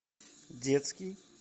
детский